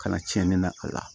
Kana cɛni da a la